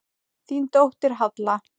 Þín dóttir, Halla.